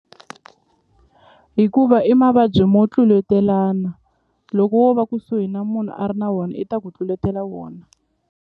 Hikuva i mavabyi mo tluletelana loko wo va kusuhi na munhu a ri na wona i ta ku tluletela wona.